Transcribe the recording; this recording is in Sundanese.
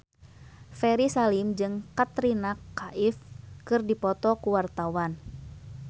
Ferry Salim jeung Katrina Kaif keur dipoto ku wartawan